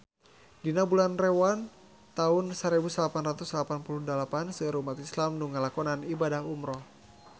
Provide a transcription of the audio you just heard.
Dina bulan Rewah taun sarebu salapan ratus salapan puluh dalapan seueur umat islam nu ngalakonan ibadah umrah